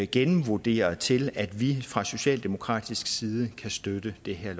gennemvurderet til at vi fra socialdemokratisk side kan støtte det her